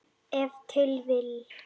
Ef til vill!